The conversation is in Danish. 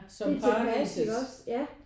Det er tilpas ikke også? Ja